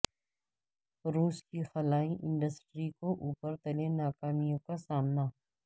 روس کی خلائی انڈسٹری کو اوپر تلے ناکامیوں کا سامنا